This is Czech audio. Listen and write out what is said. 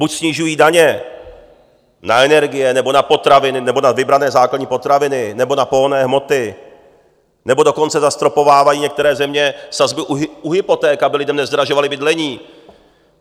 Buď snižují daně na energie, nebo na potraviny, nebo na vybrané základní potraviny, nebo na pohonné hmoty, nebo dokonce zastropovávají některé země sazby u hypoték, aby lidem nezdražovaly bydlení.